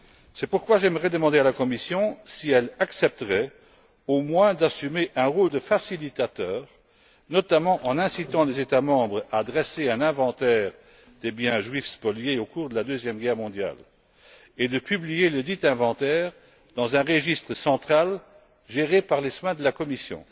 C'est pourquoi j'aimerais demander à la Commission si elle accepterait, au moins, d'assumer un rôle de facilitateur, notamment en incitant les États membres à dresser un inventaire des biens juifs spoliés au cours de la Seconde Guerre mondiale et de publier ledit inventaire dans un registre central géré par les soins de la Commission.